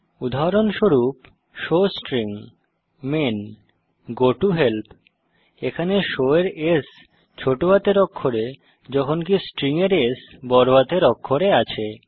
উদাহরণস্বরূপ showString main goToHelp এখানে show এর s বড়হাতের অক্ষরে যখনকি স্ট্রিং এর S ছোট হাতের অক্ষরে আছে